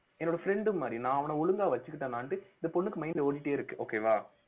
என்னோட friend மாதிரி நான் அவன ஒழுங்கா வச்சுக்கிட்டேனான்னுட்டு இந்த பொண்ணுக்கு mind ல ஓடிக்கிட்டே இருக்கு okay வா